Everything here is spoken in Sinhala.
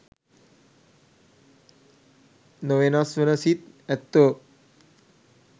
නොවෙනස් වන සිත් ඇත්තෝ